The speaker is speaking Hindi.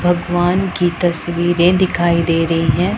भगवान की तस्वीरे दिखाई दे रही है।